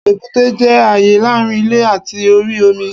Èbúté jẹ́ àyè láàrin ilè àti orí omi